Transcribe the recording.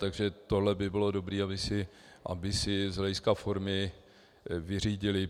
Takže tohle by bylo dobré, aby si z hlediska formy vyřídili.